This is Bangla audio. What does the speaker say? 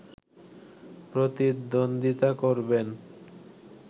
প্রতিদ্বন্দ্বিতা করবেন